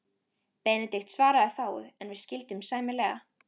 Benedikt svaraði fáu, en við skildum sæmilega.